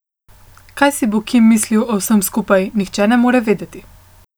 Kaj si bo Kim mislil o vsem skupaj, nihče ne more vedeti.